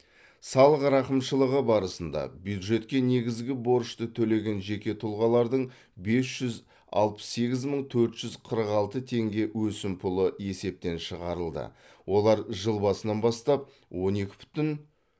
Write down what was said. салық рақымшылығы барысында бюджетке негізгі борышты төлеген жеке тұлғалардың бес жүз алпыс сегіз мың төрт жүз қырық алты теңге өсімпұлы есептен шығарылды олар жыл басынан бастап он екі бүтін